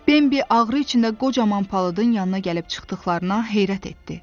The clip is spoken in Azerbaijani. Bembi ağrı içində qocaman palıdın yanına gəlib çıxdıqlarına heyrət etdi.